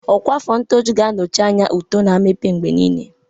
Ọkwa afọ ṅtọjụ ga-anọchi anya ụtó na mmepe mgbe niile.